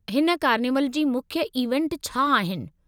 हिन कार्निवल जी मुख्य इवेंट छा आहिनि?